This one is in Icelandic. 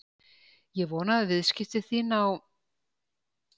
Ég vona að viðskipti þín á